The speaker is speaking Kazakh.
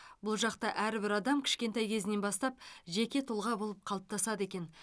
бұл жақта әрбір адам кішкентай кезінен бастап жеке тұлға болып қалыптасады екен